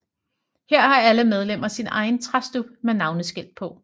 Her har alle medlemmer sin egen træstub med navneskilt på